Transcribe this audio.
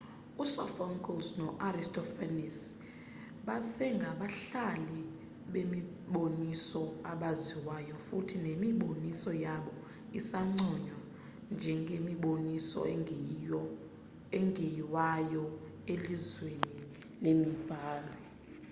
u-sophocles no-aristophanes basengabhali bemiboniso abaziwayo futhi nemiboniso yabo isanconywa njengemiboniso engeyiwayo elizweni lemibhalo